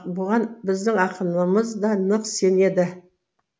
бұған біздің ақынымыз да нық сенеді